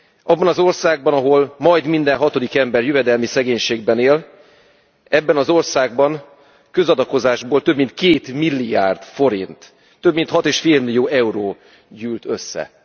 Abban az országban, ahol majd minden hatodik ember jövedelmi szegénységben él, ebben az országban közakadozásból több mint 2 milliárd, több mint 6,5 millió euró gyűlt össze.